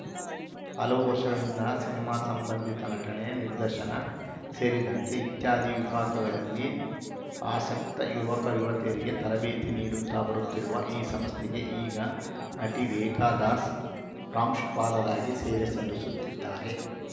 ಹಲವು ವರ್ಷಗಳಿಂದ ಸಿನಿಮಾ ಸಂಬಂಧಿತ ನಟನೆ ನಿರ್ದೇಶನ ಸೇರಿದಂತೆ ಇತ್ಯಾದಿ ವಿಭಾಗಗಳಲ್ಲಿ ಆಸಕ್ತ ಯುವಕಯುವತಿಯರಿಗೆ ತರಬೇತಿ ನೀಡುತ್ತಾ ಬರುತ್ತಿರುವ ಈ ಸಂಸ್ಥೆಗೆ ಈಗ ನಟಿ ರೇಖಾ ದಾಸ್‌ ಪ್ರಾಂಶುಪಾಲರಾಗಿ ಸೇವೆ ಸಲ್ಲಿಸುತ್ತಿದ್ದಾರೆ